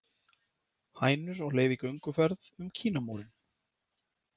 Hænur á leið í gönguferð um Kínamúrinn